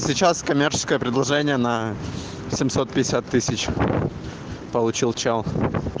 сейчас коммерческое предложение на получил чал